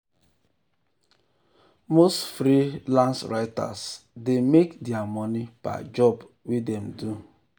the company quarterly um report shock investors as um e fall gbagam compared fall gbagam compared to last quarter.